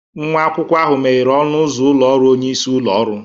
Nwa akwụkwọ ahụ meghere ọnụ ụzọ ụlọ ọrụ onye isi ụlọ ọrụ.